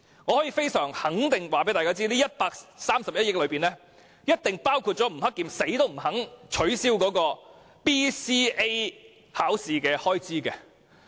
我非常肯定，這筆臨時撥款一定包括教育局局長吳克儉寧死也不肯取消的基本能力評估研究計劃的開支。